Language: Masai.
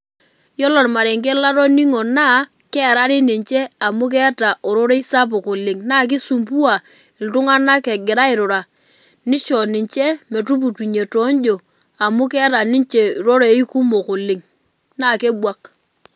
Yiolo ormarenke latoningo na kearari ninche amu keeta ororei sapuk oleng na kisumbua ltunganak egira airura nisho ninche metushukunye tonjo amu keeta ninche rorei kumok oleng na kebwak.